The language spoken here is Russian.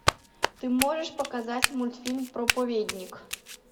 ты можешь показать мультфильм проповедник